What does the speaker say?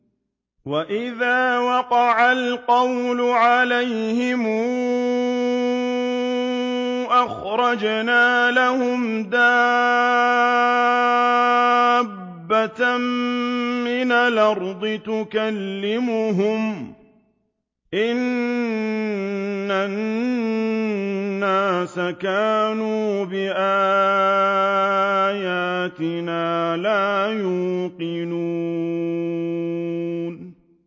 ۞ وَإِذَا وَقَعَ الْقَوْلُ عَلَيْهِمْ أَخْرَجْنَا لَهُمْ دَابَّةً مِّنَ الْأَرْضِ تُكَلِّمُهُمْ أَنَّ النَّاسَ كَانُوا بِآيَاتِنَا لَا يُوقِنُونَ